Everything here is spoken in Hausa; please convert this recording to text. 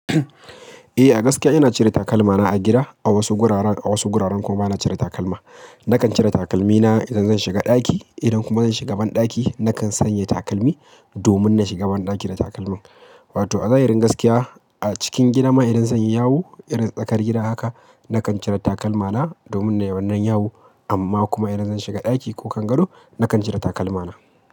Eh, a gaskiya ina cire takalmana a gida. A wasu guraren, a wasu guraren kuma bana cire takalma. Nakan cire takalmina idan zan shiga ɗaki, idan kuma zan shiga banɗaki nakan sanya takalmi, domin na shiga banɗaki da takalmin. Wato a zahirin gaskiya, a cikin gidama idan zanyi yawo irin tsakar gida haka, nakan cire takalmana domin nayi wannan yawo. Amma kuma idan zan shiga ɗaki ko kangado, nakan cire takalmana.